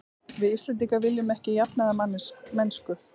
Við Íslendingar viljum ekki jafnaðarmennsku.